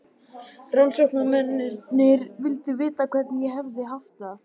Rannsóknarmenn vildu vita hvernig ég hefði haft það.